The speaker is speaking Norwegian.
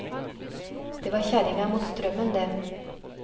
Det var kjerringa mot strømmen det.